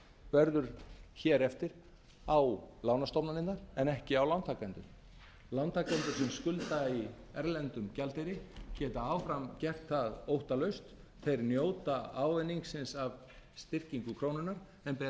verður hér eftir á lánastofnanirnar en ekki á lántakendur lántakendur sem skulda í erlendum gjaldeyri geta áfram gert það óttalaust þeir njóta ávinningsins af styrkingu krónunnar en bera